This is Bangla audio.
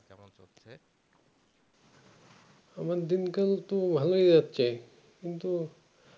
আমার দিন কাল তো ভালোই যাচ্ছে কিন্তু